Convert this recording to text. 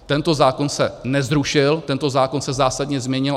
Tento zákon se nezrušil, tento zákon se zásadně změnil.